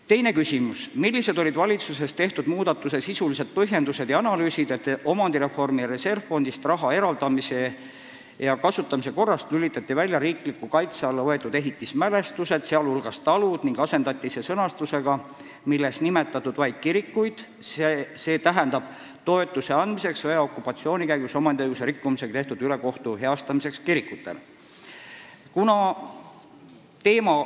Teine küsimus: "Millised olid valitsuses tehtud muudatuse sisulised põhjendused ja analüüsid, et omandireformi reservfondist raha eraldamise ja kasutamise korrast lülitati välja riikliku kaitse alla võetud ehitismälestised, sh talud, ning asendati see sõnastusega, milles nimetatud vaid kirikud, st "toetuse andmiseks sõja ja okupatsiooni käigus omandiõiguse rikkumisega tehtud ülekohtu heastamiseks kirikutele"?